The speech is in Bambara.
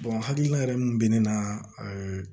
hakilina yɛrɛ min bɛ ne na ɛɛ